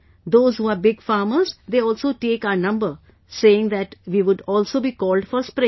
Those who are big farmers, they also take our number, saying that we would also be called for spraying